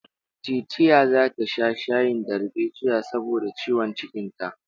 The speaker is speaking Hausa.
Teetea zata sha shayin darbejiya saboda ciwon cikinta.